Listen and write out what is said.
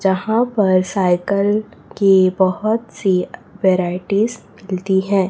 जहां पर सायकल की बहोत सी वैराइटीज मिलती है।